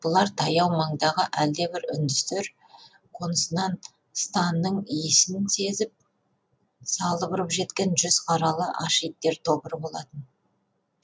бұлар таяу маңдағы әлдебір үндістер қонысынан станның иісін сезіп салып ұрып жеткен жүз қаралы аш иттер тобыры болатын